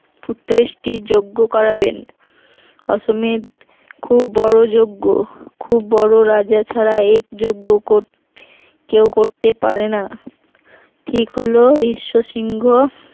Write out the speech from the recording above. পুত্রেষ্টি যজ্ঞ করাবেন অশ্বমেধ খুব বড় যজ্ঞ খুব বড় রাজা ছাড়া এই যজ্ঞ কর করতে পারে না ঠিক হলো রিশ্ব সিংহ